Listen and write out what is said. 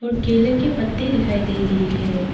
और केले के पत्ते दिखाई दे रही है।